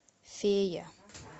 фея